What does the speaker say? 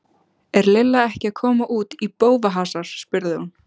Er Lilla ekki að koma út í bófahasar? spurði hún.